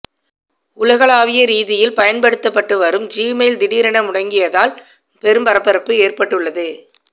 உலகளவிய ரீதியில் பயன்படுத்தப்பட்டு வரும் ஜிமெயில் திடீரென முடங்கியதால் பெரும் பரபரப்பு ஏற்பட்டுள்ளது